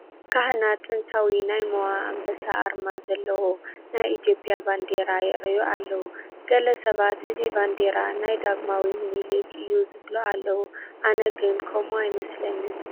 ካህናት ጥንታዊ ናይ ሞኣ ኣንበሳ ኣርማ ዘለዎ ናይ ኢትዮጵያ ባንዲራ የርእዩ ኣለዉ፡፡ ገለ ሰባት እዚ ባንዲራ ናይ ዳግማዊ ሚኒሊክ እዩ ዝብሉ ኣለዉ፡፡ ኣነ ግን ከምኡ ኣይኣምንን፡፡